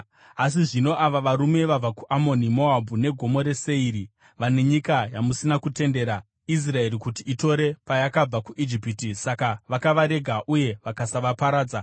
“Asi zvino ava varume vabva kuAmoni, Moabhu neGomo reSeiri vane nyika yamusina kutendera Israeri kuti itore payakabva kuIjipiti. Saka vakavarega uye vakasavaparadza.